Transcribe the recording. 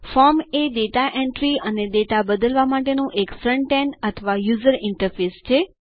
form એ data entry અને data બદલવા માટેનું એક ફ્રન્ટ એન્ડ અથવા યુઝર ઈન્ટરફેસ છે